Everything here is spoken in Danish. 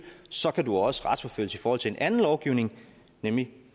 så kan du også retsforfølges i forhold til en anden lovgivning nemlig